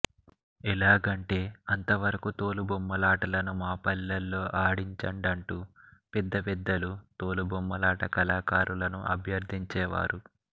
ఎలాగంటే అంతవరకూ తోలుబొమ్మలాటలను మాపల్లెలో ఆడించండంటూ పల్లె పెద్దలు తోలు బొమ్మలాట కళాకారులను అభ్యర్థించేవారు